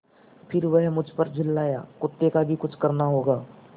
फिर वह मुझ पर झल्लाया कुत्ते का भी कुछ करना होगा